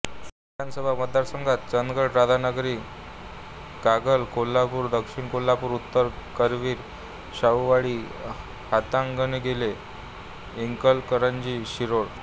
विधानसभा मतदारसंघ चंदगडराधानगरी कागलकोल्हापूर दक्षिण कोल्हापूर उत्तर करवीर शाहूवाडी हातकणंगले इचलकरंजी शिरोळ